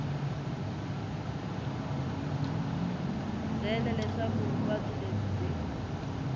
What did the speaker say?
byele leswaku vuvabyi lebyi byi